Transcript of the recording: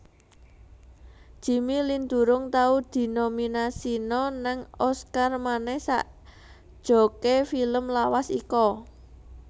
Jimmy Lin durung tau dinominasino nang Oscar maneh sakjoke film lawas iko